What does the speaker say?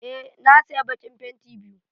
Eh na saya bakin fenti biyu.